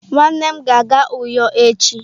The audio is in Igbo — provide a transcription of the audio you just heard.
Nwannem ga-aga uyo echi.